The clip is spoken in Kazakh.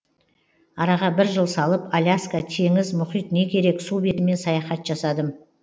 араға бір жыл салып аляска теңіз мұхит не керек су бетімен саяхат жасадым